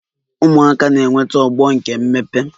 Ụmụaka na-enweta ogbo nke mmepe